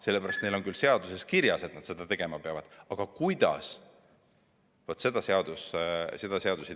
Seaduses on küll kirjas, et nad peavad seda tegema, aga pole öeldud, kuidas.